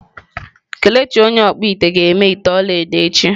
Kelechi onye okpu-ite ga-eme ite olaedo echi.